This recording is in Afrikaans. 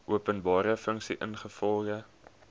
openbare funksie ingevolge